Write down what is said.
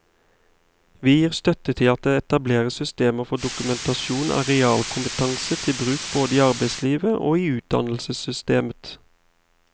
Vi gir støtte til at det etableres systemer for dokumentasjon av realkompetanse til bruk både i arbeidslivet og i utdannelsessystemet.